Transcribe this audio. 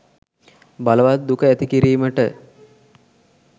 බලවත් දුක ඇති කිරීමට